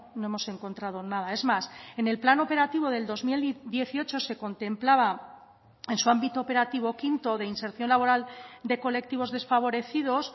no hemos encontrado nada es más en el plan operativo del dos mil dieciocho se contemplaba en su ámbito operativo quinto de inserción laboral de colectivos desfavorecidos